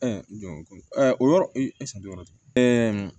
don ko o yɔrɔ